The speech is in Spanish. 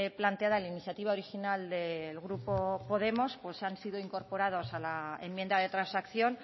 planteada en la iniciativa original del grupo podemos pues han sido incorporados a la enmienda de transacción